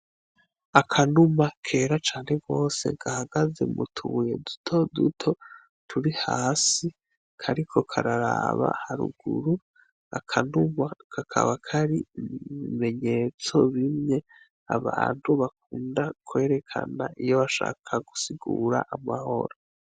Akanuma kera cane gose gahagaze mutubuye duto duto turi hasi, kariko kararaba haruguru, akanuma kakaba Kari mubimenyetso bimwe abantu bakunda kwerekana iyo bashaka gusigura amahoro.